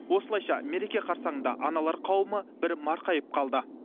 осылайша мереке қарсаңында аналар қауымы бір марқайып қалды